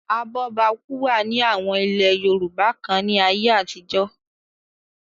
abọ́bakú wà ní àwọn ilẹ̀ yorùbá kan ní ayé àtijọ́